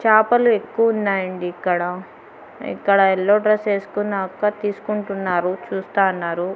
చాపలు ఎక్కువున్నాయండి ఇక్కడ ఇక్కడ ఎల్లో డ్రస్ ఏస్కున్న అక్క తీస్కుంటున్నారు చూస్తాన్నారు.